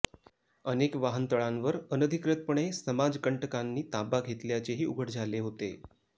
अनेक वाहनतळांवर अनधिकृतपणे समाजकंटकांनी ताबा घेतल्याचेही उघड झाले होते